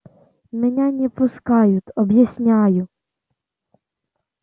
меня не пускают объясняю